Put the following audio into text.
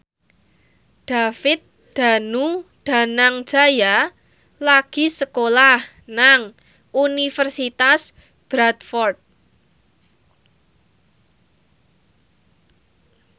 David Danu Danangjaya lagi sekolah nang Universitas Bradford